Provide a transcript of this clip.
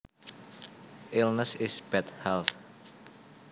Illness is bad health